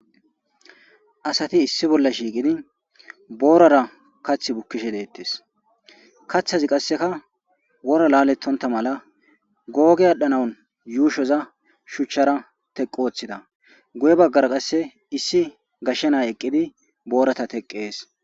Asati issi bolla shiiqidi boorara kath bukkishe deettes kaththazi qasseka wora laalettonta mala googe adhanaun yuushoza shuchchara teqqu oththida guye baggara qasse issi gashshenay eqqidi boorata teqqees.